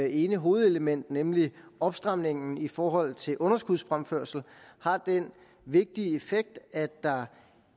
ene hovedelement nemlig opstramningen i forhold til underskudsfremførsel har den vigtige effekt at der